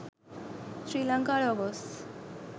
srilanka logos